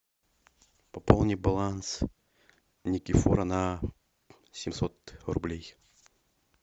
пополни баланс никифора на семьсот рублей